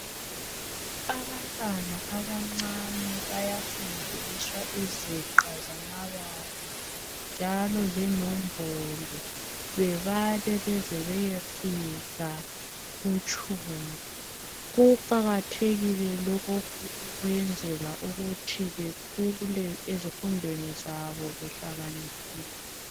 Abantwana abancane bayafundiswa iziqa zamabala njalo lenombolo. Bebale beze beyefika kutshumi. Kuqakathekile lokhu ukwenzela ukuthi bekhule ezifundweni zabo behlakaniphile.